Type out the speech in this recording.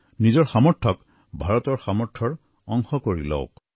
নিজৰ সামৰ্থক ভাৰতৰ সামৰ্থৰ অংশ কৰি লওক